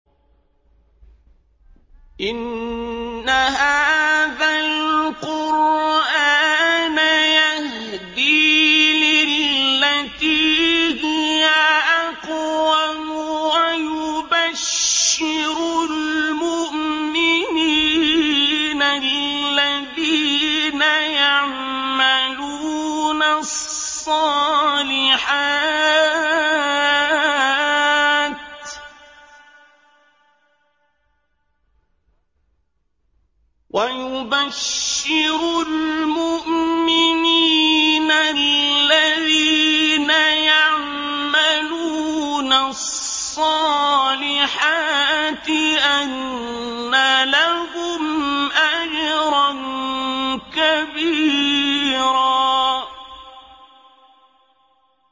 إِنَّ هَٰذَا الْقُرْآنَ يَهْدِي لِلَّتِي هِيَ أَقْوَمُ وَيُبَشِّرُ الْمُؤْمِنِينَ الَّذِينَ يَعْمَلُونَ الصَّالِحَاتِ أَنَّ لَهُمْ أَجْرًا كَبِيرًا